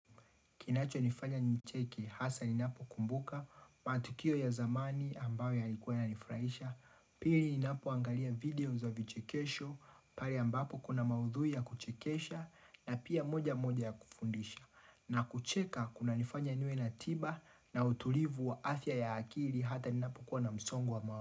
Kinachonifanya nicheke hasa ninapokumbuka matukio ya zamani ambayo yalikuwa yananifurahisha Pili ninapoangalia video za vichekesho pale ambapo kuna maudhui ya kuchekesha na pia moja moja ya kufundisha na kucheka kunanifanya niwe na tiba na utulivu wa afya ya akili hata ninapokuwa msongo wa mawazo.